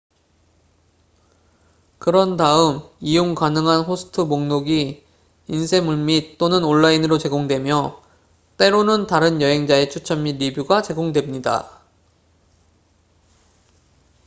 그런 다음 이용 가능한 호스트 목록이 인쇄물 및/또는 온라인으로 제공되며 때로는 다른 여행자의 추천 및 리뷰가 제공됩니다